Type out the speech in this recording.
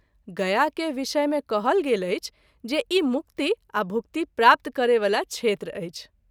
गया के विषय मे कहल गेल अछि जे ई मुक्ति आ भुक्ति प्राप्त कराबय वला क्षेत्र अछि।